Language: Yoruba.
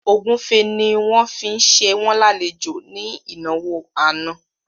Ògúnfe ni wọ́n fi ṣe wọ́n lálejò ní ìnáwó àná